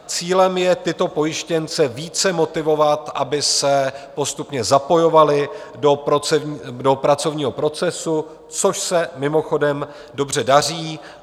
Cílem je tyto pojištěnce více motivovat, aby se postupně zapojovali do pracovního procesu, což se mimochodem dobře daří.